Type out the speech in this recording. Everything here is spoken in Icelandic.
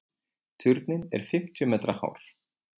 Turninn er fimmtíu metra hár.